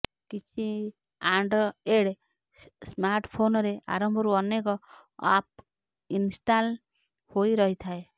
କିଛି ଆଣ୍ଡ୍ରଏଡ୍ ସ୍ମାର୍ଟଫୋନରେ ଆରମ୍ଭରୁ ଅନେକ ଆପ୍ ଇନ୍ଷ୍ଟାଲ୍ ହୋଇ ରହିଥାଏ